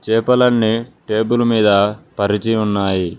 చేపలన్నీ టేబుల్ మీద పరిచి ఉన్నాయి.